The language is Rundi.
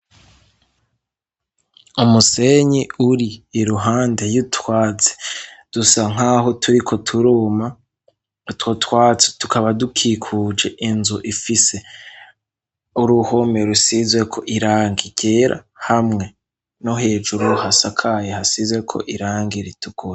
Umusenyi uri iruhande y'utwaze dusa nk'aho turiko turuma two twazi tukaba dukikuje inzu ifise uruhome rusizweko iranga irera hamwe no hejuru hasakaye hasize ko irange iritwe.